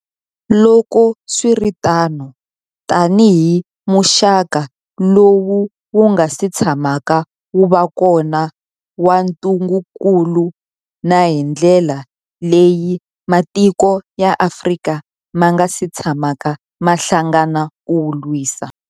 Loko swi ri tano, tanihi muxaka lowu wu nga si tshamaka wu va kona wa ntungukulu, na hi ndlela leyi matiko ya Afrika ma nga si tshamaka ma hlangana ku wu lwisa.